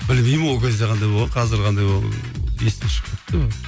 білмеймін ол кезде қандай болғанын қазір қандай есімнен шығып кетті